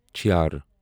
چھیر